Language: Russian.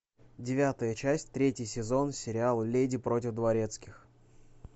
девятая часть третий сезон сериал леди против дворецких